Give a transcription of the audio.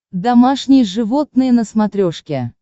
домашние животные на смотрешке